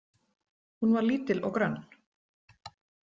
Hún var lítil og grönn.